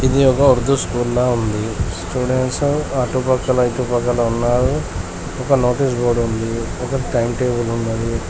ఇది ఒక ఉర్దూ స్కూల్ లా ఉంది స్టూడెంట్స్ అటుపక్కల ఇటు పక్కల ఉన్నారు ఒక నోటీసు బోర్డు ఉంది ఒక టైం టేబుల్ ఉన్నది.